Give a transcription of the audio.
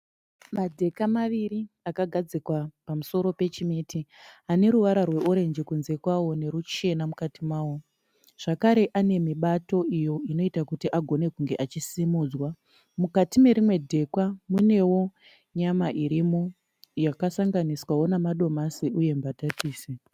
Madheka maviri akagadzikwa pamusoro pechimeti ane ruvara rweorenji kunze kwawo neruchena mukati mawo zvakare ane mibato iyo inoita kuti agone kunge achisimudzwa. Mukati nerimwe dheka munewo nyama irimo yakasanganiswawo namadomasi uye mbatatisi.